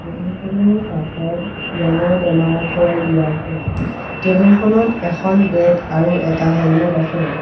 Table খনৰ কাষত ৰঙৰ টেমা থৈ দিয়া আছে টেবুল খনত এখন বেগ আৰু এটা হেলমেট আছে।